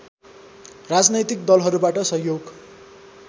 राजनैतिक दलहरूबाट सहयोग